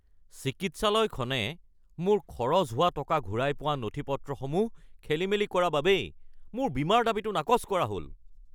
চিকিৎসালয়খনে মোৰ খৰচ হোৱা টকা ঘূৰাই পোৱা নথি-পত্ৰসমূহ খেলিমেলি কৰা বাবেই মোৰ বীমাৰ দাবীটো নাকচ কৰা হ’ল